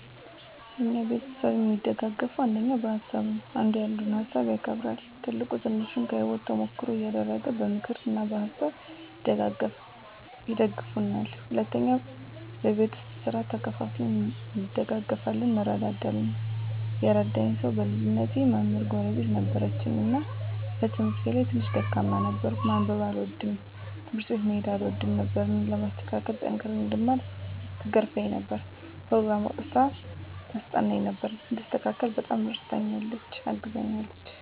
እኛ ቤተሰብ እሚደጋገፈዉ አንደኛ በሀሳብ ነዉ። አንዱ ያንዱን ሀሳብ ያከብራል፣ ትልቁ ትንሹን ከህይወቱ ተሞክሮ እያደረገ በምክር እና በሀሳብ ይደግፉናል። ሁለተኛ በቤት ዉስጥ ስራ ተከፋፍለን እንደጋገፋለን (እንረዳዳለን) ። የረዳኝ ሰዉ በልጅነቴ መምህር ጎረቤት ነበረችን እና በትምህርቴ ላይ ትንሽ ደካማ ነበርኩ፤ ማንበብ አልወድም፣ ትምህርት ቤት መሄድ አልወድም ነበር እኔን ለማስተካከል እና ጠንክሬ እንድማር ትገርፈኝ ነበር፣ ኘሮግራም አዉጥታ ታስጠናኝ ነበር፣ እንድስተካከል በጣም እረድታኛለች(አግዛኛለች) ።